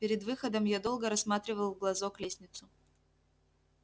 перед выходом я долго рассматривал в глазок лестницу